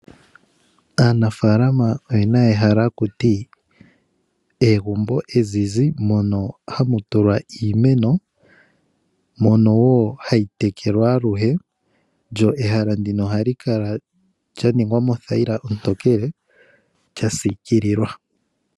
Aanafalama oye na ehala haku ti egumbo ezizi mono hamu tulwa iimeno mono wo hayi tekelwa aluhe lyo ehala ndino ohali kala lya ningwa mothayila ontokele lya sikililwa.